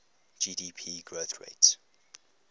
gdp growth rates